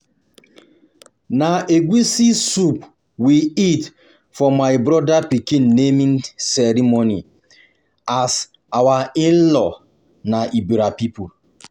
na egusi soup we eat for my brother pikin naming ceremony as our in-laws na Ebira people